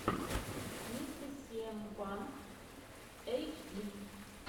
мистэ сиэм панк эйтчди